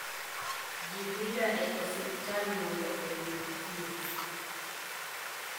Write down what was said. Ji dhiga e osiptal mondo oyud thieth.